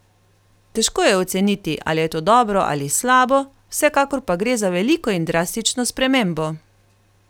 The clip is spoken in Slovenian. Težko je oceniti, ali je to dobro ali slabo, vsekakor pa gre za veliko in drastično spremembo!